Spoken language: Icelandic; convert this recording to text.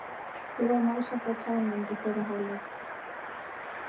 VIð vorum alls ekki á tánum í fyrri hálfleik.